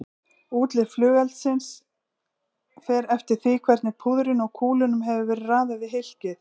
Útlit flugeldsins fer eftir því hvernig púðrinu og kúlunum hefur verið raðað í hylkið.